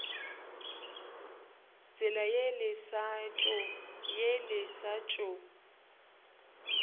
tsela ye le sa tšo